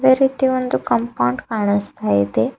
ಅದೆ ರೀತಿ ಒಂದು ಕಾಂಪೌಂಡ್ ಕಾಣಿಸ್ತ ಇದೆ.